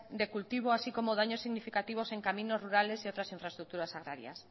de cultivo así como daños significativos en caminos rurales y otras infraestructuras agrarias